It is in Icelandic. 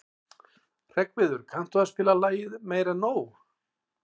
Hreggviður, kanntu að spila lagið „Meira En Nóg“?